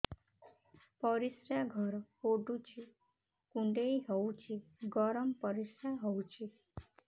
ପରିସ୍ରା ଘର ପୁଡୁଚି କୁଣ୍ଡେଇ ହଉଚି ଗରମ ପରିସ୍ରା ହଉଚି